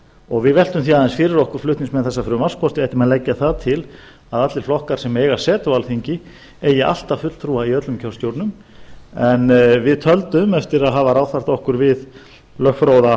og við veltum því aðeins fyrir okkur flutningsmenn þessa frumvarps hvort við ættum að leggja það til að allir flokkar sem eiga setu á alþingi eigi alltaf fulltrúa í öllum kjörstjórnum en við töldum eftir að hafa ráðfært okkur við lögfróða